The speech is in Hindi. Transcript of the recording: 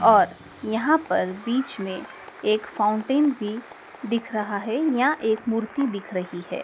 और यहाँ पर बीच में एक फाउंटेन भी दिख रहा है या एक मूर्ति दिख रही है।